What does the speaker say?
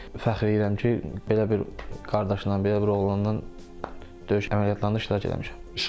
Fəxr edirəm ki, belə bir qardaşla, belə bir oğlanla döyüş əməliyyatlarında iştirak eləmişəm.